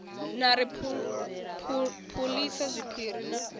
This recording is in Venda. na ri phulisa zwiphiri na